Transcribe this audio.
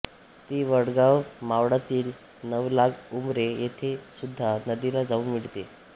ती वडगाव मावळातील नवलाख उंब्रे येथे सुधा नदीला जाऊन मिळते